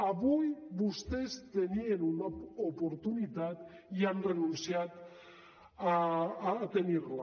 avui vostès tenien una oportunitat i han renunciat a tenir la